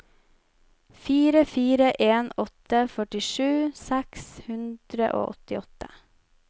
fire fire en åtte førtisju seks hundre og åttiåtte